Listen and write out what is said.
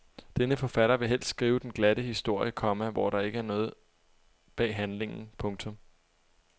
Denne forfatter vil helst skrive den glatte historie, komma hvor der ikke er noget bag handlingen. punktum